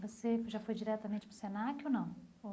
Você já foi diretamente para o Senac ou não?